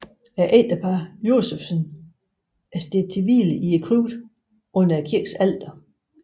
Ægteparret Josephsen er stedt til hvile i krypten under kirkens alter